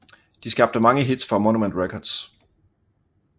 De skabte mange hits for Monument Records